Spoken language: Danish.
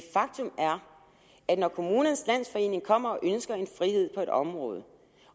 faktum er at når kommunernes landsforening kommer og ønsker frihed på et område